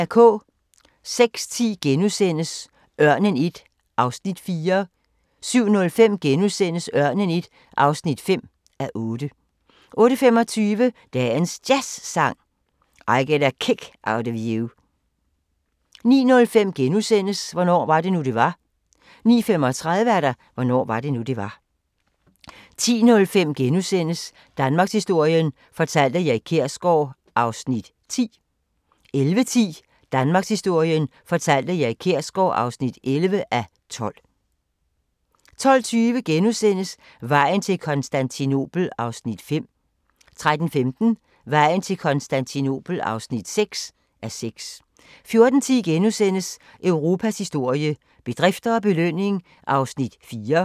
06:10: Ørnen I (4:8)* 07:05: Ørnen I (5:8)* 08:25: Dagens Jazzsang: I Get a Kick Out of You 09:05: Hvornår var det nu det var * 09:35: Hvornår var det nu det var 10:05: Danmarkshistorien fortalt af Erik Kjersgaard (10:12)* 11:10: Danmarkshistorien fortalt af Erik Kjersgaard (11:12) 12:20: Vejen til Konstantinopel (5:6)* 13:15: Vejen til Konstantinopel (6:6) 14:10: Europas historie – bedrifter og belønning (4:6)*